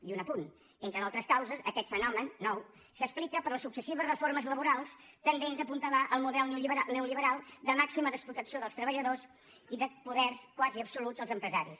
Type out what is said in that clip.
i un apunt entre d’altres causes aquest fenomen nou s’explica per les successives reformes laborals tendents a apuntalar el model neolliberal de màxima desprotecció dels treballadors i de poders quasi absoluts dels empresaris